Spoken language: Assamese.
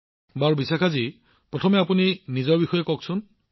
প্ৰধানমন্ত্ৰীঃ বিশাখাজী প্ৰথমে আমাক নিজৰ বিষয়ে কওক